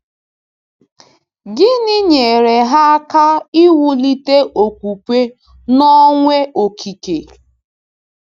Gịnị nyere ha aka iwulite okwukwe n’Ọnwe-Okike?